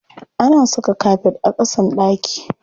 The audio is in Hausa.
Ana saka kafet a ƙasan ɗaki.